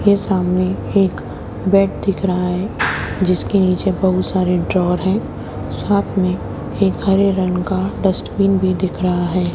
के सामने एक बेड दिख रहा है जिसके नीचे बहुत सारे ड्रॉर हैं साथ में एक हरे रंग का डस्टबिन भी दिख रहा है।